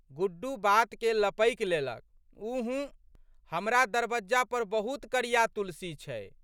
गुड्डू बातके लपकि लेलक, ऊँह! हमरा दरबज्जा पर बहुत करिया तुलसी छै।